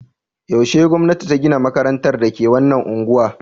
Yaushe gwamnati ta gina makarantar da ke wannan unguwa?